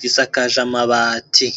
gisakaje amabati.